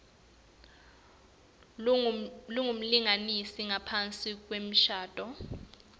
lengumlingani ngaphasi kwemshado